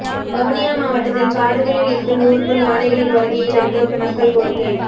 வவுனியா மாவட்டத்தில் காடுகளில் இருந்து ஊருக்குள் யானைகளின் வருகையை தடுக்க மக்கள் கோரிக்கை